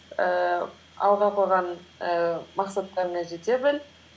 ііі алға қойған ііі мақсаттарыңа жете біл